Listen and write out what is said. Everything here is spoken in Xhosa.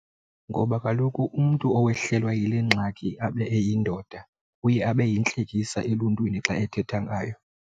Ngoba kaloku umntu owehlelwa yile ngxaki abe eyindoda uye abe yintlekisa eluntwini xa ethetha ngaye.